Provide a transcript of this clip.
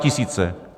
Statisíce.